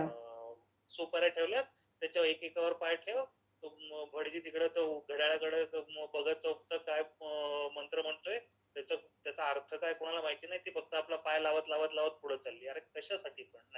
सुपाऱ्या ठेवल्यायत. त्याच्यावर एकेकावर पाय ठेव. तो भटजी तिकडं घड्याळाकडे बघत अम्म, मंत्र म्हणतोय, त्याचा अर्थ काय कोणाला माहित नाही ते फक्त आपला पाय लावत लावत पुढं चालली आहे, अरे कश्यासाठी पण